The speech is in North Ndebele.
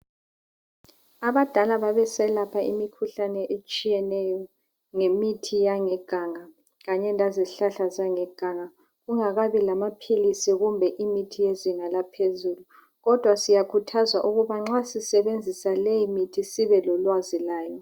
Abadala babeselapha imikhuhlane etshiyeneyo ngemithi yangeganga kanye lezihlahla zangeganga kungakabi lamaphilisi kumbe imithi yezinga langaphezulu kodwa siyakhuthazwa ukuba nxa sisebenzisa leyimithi sibelolwazi layo.